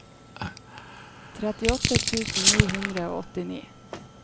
trettiåtte tusen ni hundre og åttini